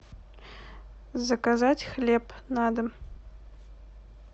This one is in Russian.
заказать хлеб на дом